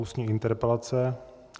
Ústní interpelace